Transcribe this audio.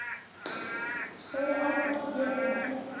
Stóru árnar hér og þar.